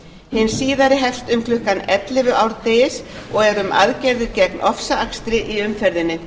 hin síðari hefst um klukkan ellefu árdegis og er um aðgerðir gegn ofsaakstri í umferðinni